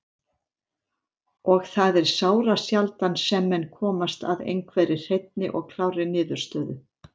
Og það er sárasjaldan sem menn komast að einhverri hreinni og klárri niðurstöðu.